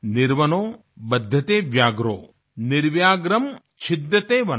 निर्वनो बध्यते व्याघ्रो निर्व्याघ्रं छिद्यते वनम